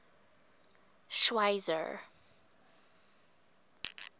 schweizer